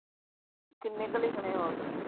ਕਿਨ੍ਹੇ ਕੁ ਲਿਖਣੇ ਹੋਰ?